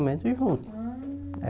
junto. Ah É